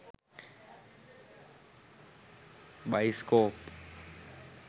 baiscope